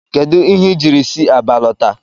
Kedu ihe i jiri si Aba lọta?